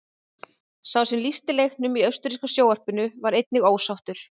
Sá sem lýsti leiknum í austurríska sjónvarpinu var einnig ósáttur.